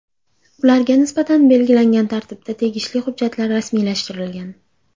Ularga nisbatan belgilangan tartibda tegishli hujjatlar rasmiylashtirilgan.